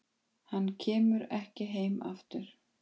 Hann kemur ekki heim aftur.